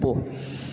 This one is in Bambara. Bɔ